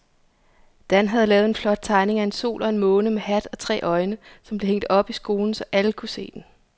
Dan havde lavet en flot tegning af en sol og en måne med hat og tre øjne, som blev hængt op i skolen, så alle kunne se den.